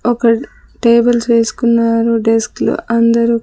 ఒక టేబుల్స్ వేసుకున్నారు డెస్క్ లో అందరూ.